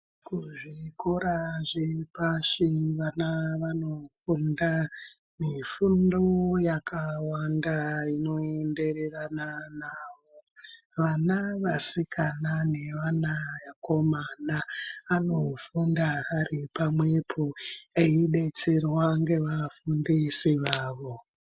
Kuzvikora zviri pashi vana vanofunda mifundo yakawanda inoenderana nawo. Vana vasikana nevana vakomana anofunda aripamwepo, eibetserwa ngevafundisi vavo.